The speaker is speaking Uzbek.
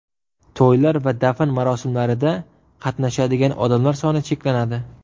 To‘ylar va dafn marosimlarida qatnashadigan odamlar soni cheklanadi.